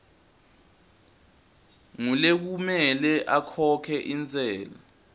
ngulekumele akhokhe intsela